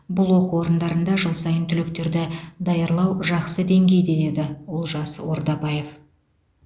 бұл оқу орындарында жыл сайын түлектерді даярлау жақсы деңгейде деді олжас ордабаев